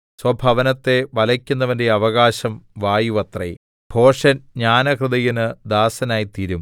സ്വഭവനത്തെ വലയ്ക്കുന്നവന്റെ അവകാശം വായുവത്രെ ഭോഷൻ ജ്ഞാനഹൃദയന് ദാസനായിത്തീരും